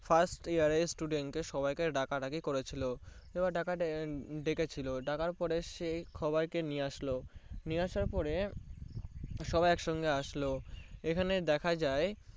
First year student দেড় ডাকা করেছিল এবার ডাকার পরে সবাই কে নিয়ে আসলো নিয়ে আসার পরে সবাই একসঙ্গে আসলো এখানে দেখা যায়